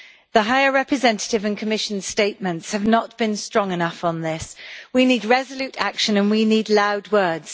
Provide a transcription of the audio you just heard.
The High Representative and Commission statements have not been strong enough on this. We need resolute action and we need loud words.